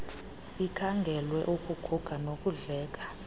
ikhangelwe ukuguga nokudleka